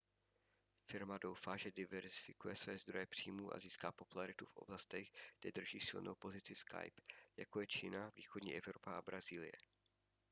firma doufá že diverzifikuje své zdroje příjmů a získá popularitu v oblastech kde drží silnou pozici skype jako je čína východní evropa a brazílie